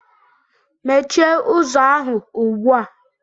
Mechie ụzọ ahụ ugbu a!